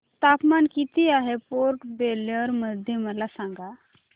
तापमान किती आहे पोर्ट ब्लेअर मध्ये मला सांगा